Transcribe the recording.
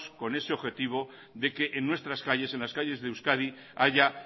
con ese objetivo de que en nuestras calles en las calles de euskadi haya